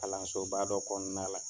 Kalanso ba dɔ kɔnɔna la